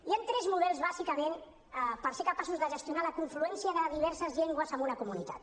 hi han tres models bàsicament per ser capaços de gestionar la confluència de diverses llengües en una comunitat